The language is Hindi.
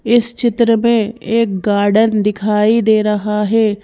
इस चित्र में एक गार्डन दिखाई दे रहा है।